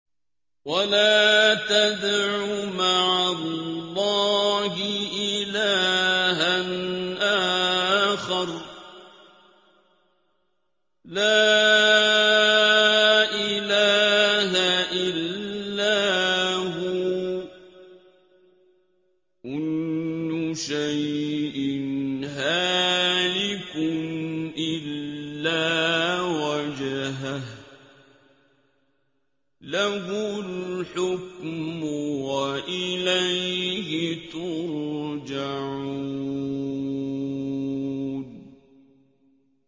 وَلَا تَدْعُ مَعَ اللَّهِ إِلَٰهًا آخَرَ ۘ لَا إِلَٰهَ إِلَّا هُوَ ۚ كُلُّ شَيْءٍ هَالِكٌ إِلَّا وَجْهَهُ ۚ لَهُ الْحُكْمُ وَإِلَيْهِ تُرْجَعُونَ